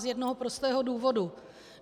Z jednoho prostého důvodu.